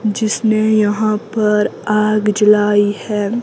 जिसने यहां पर आग जलाई है।